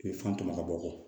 I bɛ fan tɔmɔ ka bɔ